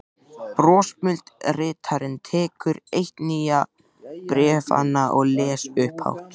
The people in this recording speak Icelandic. Brosmildi ritarinn tekur eitt nýju bréfanna og les upphátt